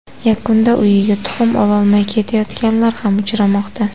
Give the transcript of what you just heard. Yakunda uyiga tuxum ololmay ketayotganlar ham uchramoqda.